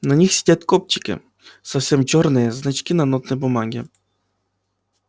на них сидят кобчики совсем чёрные значки на нотной бумаге